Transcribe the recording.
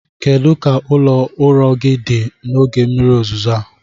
Kedu ka ụlọ ụrọ gị dị n'oge mmiri ozuzo a?